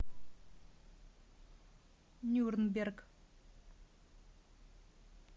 нюрнберг